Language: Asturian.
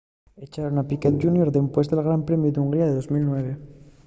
echaron a piquet jr dempués del gran premiu d'hungría de 2009